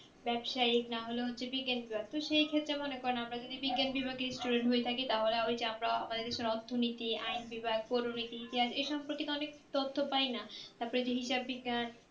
ব্যাপসাইক না হলে হচ্ছে যে বিজ্ঞান বিভাগ সেই ক্ষেত্রে মনে করেন আমরা যদি বিজ্ঞান বিভাগের student হয়ে থাকি তাহলে হইছে আমার এই দেশের অর্থনীতি আইন বিভাগ করনীতি ইতিহাস এই সম্পর্কের অনেক তথ্য পাওয়া যাই না তারপর যে হিসাব বিজ্ঞান